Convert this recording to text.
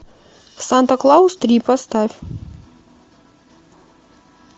санта клаус три поставь